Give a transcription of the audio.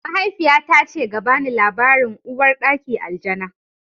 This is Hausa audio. Mahaifiyata ce ga bani labarin Uwar ɗaki Aljana